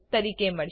તરીકે મળશે